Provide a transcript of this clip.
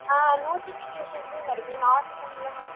ஆஹ் notification லயும் வருது normal அ